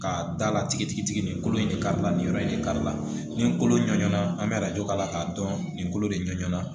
K'a dala tigitigi tigi tigi nin kolo in de ka nin yɔrɔ in de kari la nin kolo ɲɔ na an bɛ arajo k'a la k'a dɔn nin kolo de ɲana